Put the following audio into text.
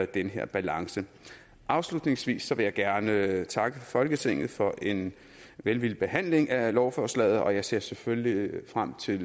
den her balance afslutningsvis vil jeg gerne takke folketinget for en velvillig behandling af lovforslaget og jeg ser selvfølgelig frem til